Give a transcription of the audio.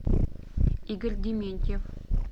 игорь дементьев